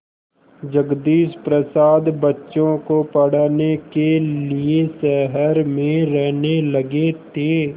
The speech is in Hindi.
जगदीश प्रसाद बच्चों को पढ़ाने के लिए शहर में रहने लगे थे